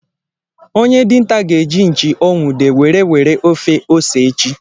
Onye dinta ga-eji Nchi o nwude were were ofe ose echi.